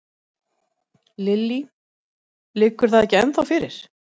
Lillý: Liggur það ekki ennþá fyrir?